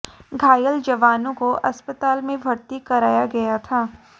घायल जवानों को अस्पताल में भर्ती कराया गया था